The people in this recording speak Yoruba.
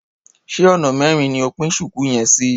Ṣé ona mẹrin ni o pín ṣùkú yẹn sí?